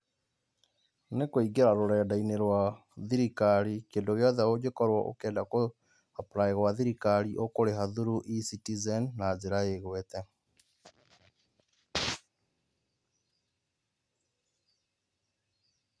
nĩ kũĩngĩra rũrenda-inĩ rwa thĩrikarĩ kĩndũ gĩothe ũngĩkorwo ũkĩenda kũ apply gwa thĩrikari ũkũrĩha through Ecitizen na njĩra igwete.